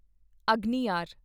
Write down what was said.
ਅਗਨਿਆਰ